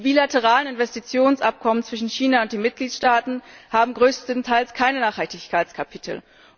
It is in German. Die bilateralen Investitionsabkommen zwischen China und den Mitgliedstaaten haben größtenteils keine Nachhaltigkeitskapitel.